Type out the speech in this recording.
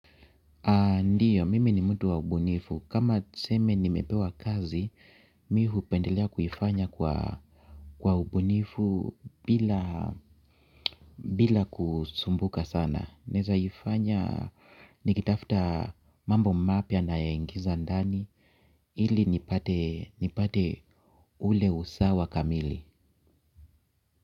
Ndiyo, mimi ni mtu wa ubunifu. Kama tuseme nimepewa kazi, mimi hupendelea kuifanya kwa ubunifu bila kusumbuka sana. Naweza ifanya nikitafuta mambo mapya na yaingiza ndani. Ili nipate ule usawa kamili.